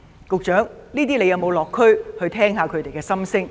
局長有沒有落區聆聽他們的心聲？